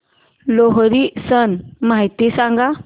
लोहरी सण माहिती सांगा